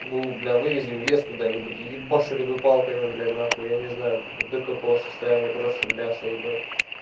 чтобы его бля вывезли в лес куда нибудь ебашили палками блять нахуй я не знаю до какого состояния просто в мясо ебать